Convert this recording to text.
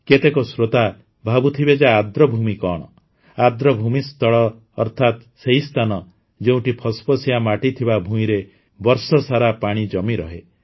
କେତେକ ଶ୍ରୋତା ଭାବୁଥିବେ ଯେ ଆର୍ଦ୍ରଭୂମି କଣ ଆର୍ଦ୍ରଭୂମି ସ୍ଥଳ ଅର୍ଥାତ ସେହି ସ୍ଥାନ ଯେଉଁଠି ଫସଫସିଆ ମାଟି ଥିବା ଭୂଇଁରେ ବର୍ଷସାରା ପାଣି ଜମି ରହେ